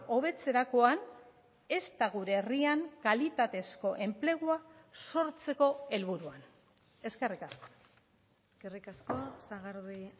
hobetzerakoan ezta gure herrian kalitatezko enplegua sortzeko helburuan eskerrik asko eskerrik asko sagardui